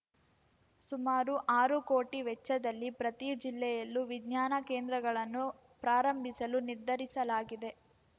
ಸುಮಾರು ಆರು ಕೋಟಿ ವೆಚ್ಚದಲ್ಲಿ ಪ್ರತಿ ಜಿಲ್ಲೆಯಲ್ಲೂ ವಿಜ್ಞಾನ ಕೇಂದ್ರಗಳನ್ನು ಪ್ರಾರಂಭಿಸಲು ನಿರ್ಧರಿಸಲಾಗಿದೆ